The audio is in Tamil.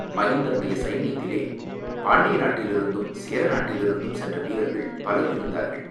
மகிந்தனுடைய சைன்யத்திலே பாண்டிய நாட்டிலிருந்தும், சேர நாட்டிலிருந்தும் சென்ற வீரர்கள் பலர் இருந்தார்கள்.